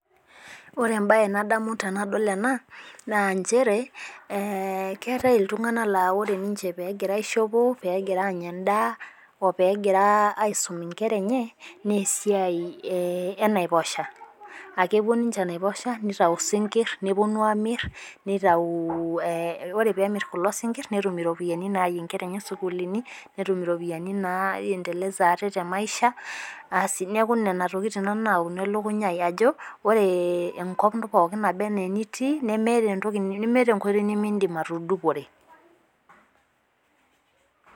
Ore ebae nadamu tenadol enaa naa nchere keetae iltung'ana naa ore ninche pegira aishopo pegira Anya edaa oo pegira aisum inkera enye naa esia enaiposha. Aa kepuo ninche enaiposha, nitayu isinkir nepuonu amir nitayu ore pee emir kulo sinkir netum iropiani nayaye inkera enye sukulini netum iropiani na endeleza aate te maisha Nena tokin Nanu napuonu elekunya ajo ore enkop toronok naaba anaa aniti nemeeta enkoitoi nemidim atudupore.